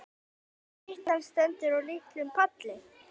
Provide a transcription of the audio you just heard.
Styttan stendur á litlum palli.